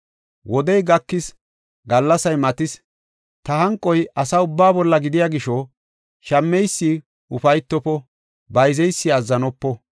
Wodey gakis; gallasay matis; ta hanqoy asa ubbaa bolla gidiya gisho shammeysi ufaytofo; bayzeysi azzanopo.